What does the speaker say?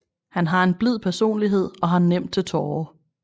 Han har en blid personlighed og har nemt til tårer